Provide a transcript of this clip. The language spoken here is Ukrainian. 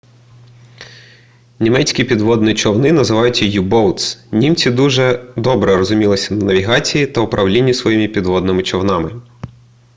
німецькі підводні човни називалися u-boats німці дуже добре розумілися на навігації та управлінні своїми підводними човнами